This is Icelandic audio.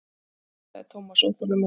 Nei sagði Thomas óþolinmóður.